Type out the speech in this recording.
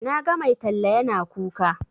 Na ga mai talla yana kuka.